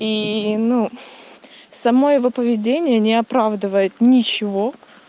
и ну само его поведение не оправдывает ничего